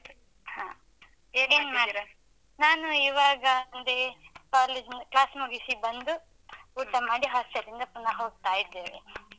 ಹ. ಈಗೇನ್ ಮಾಡ್ತಿದ್ದೀರ? ನಾನು ಈವಾಗ ಬಂದೆ, college class ಮುಗಿಸಿ ಬಂದು ಊಟ ಮಾಡಿ hostel ಲಿಂದ ಪುನ ಹೋಗ್ತಾ ಇದ್ದೇವೆ.